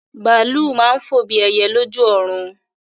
Bàálù máa ń fò bí ẹyẹ lójú ọ̀run.